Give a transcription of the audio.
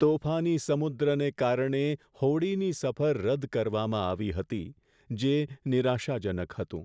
તોફાની સમુદ્રને કારણે હોડીની સફર રદ કરવામાં આવી હતી, જે નિરાશાજનક હતું.